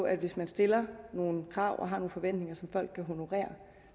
at hvis man stiller nogle krav og har nogle forventninger som folk kan honorere